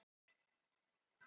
Allt úr flottasta plasti.